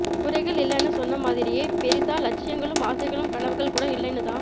குறைகள் இல்லைனு சொன்ன மாதிரியே பெரிசா லட்சியங்களும் ஆசைகளும் கனவுகளும் கூட இல்லைனுதான்